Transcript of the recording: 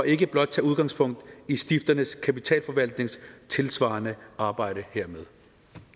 ikke blot tager udgangspunkt i stifternes kapitalforvaltnings tilsvarende arbejde hermed